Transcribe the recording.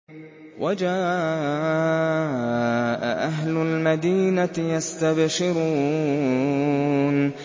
وَجَاءَ أَهْلُ الْمَدِينَةِ يَسْتَبْشِرُونَ